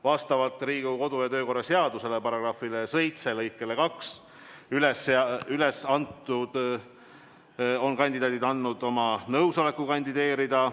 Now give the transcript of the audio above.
Vastavalt Riigikogu kodu- ja töökorra seaduse § 7 lõikele 2 on üles antud kandidaadid andnud oma nõusoleku kandideerida.